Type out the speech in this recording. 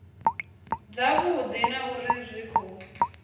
dzavhudi na uri zwi khou